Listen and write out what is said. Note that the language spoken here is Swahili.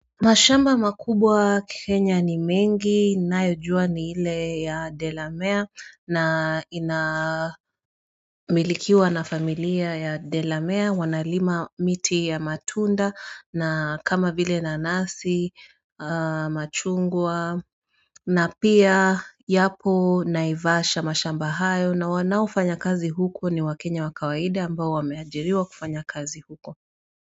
Mashamba makubwa Kenya ni mengi ninayojua ni ile ya Delamere na inamilikiwa na familia ya Delamere wanalima miti ya matunda na kama vile nanasi, machungwa na pia yapo naivasha mashamba hayo na wanaofanya kazi huko ni wakenya wa kawaida ambao wameajiriwa kufanya kazi huko.